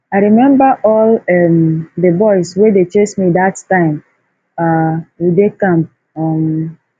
i remember all um the boys wey dey chase me dat time um we dey camp um